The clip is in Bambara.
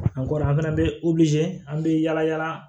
An kɔni an fana bɛ an bɛ yaala yaala